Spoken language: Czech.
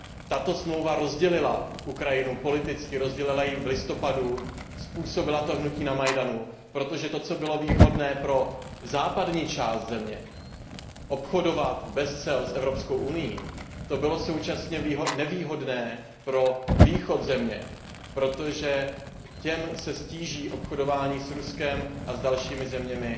Tato smlouva rozdělila Ukrajinu politicky, rozdělila ji v listopadu, způsobila to hnutí na Majdanu, protože to, co bylo výhodné pro západní část země obchodovat bez cel s Evropskou unií to bylo současně nevýhodné pro východ země, protože v této části se ztíží obchodování s Ruskem a s dalšími zeměmi